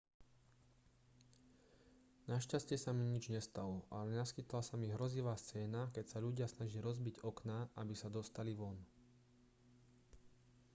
našťastie sa mi nič nestalo ale naskytla sa mi hrozivá scéna keď sa ľudia snažili rozbiť okná aby sa dostali von